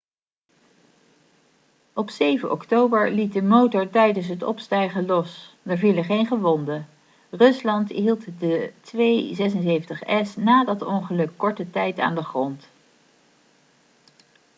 op 7 oktober liet de motor tijdens het opstijgen los er vielen geen gewonden rusland hield de il-76s na dat ongeluk korte tijd aan de grond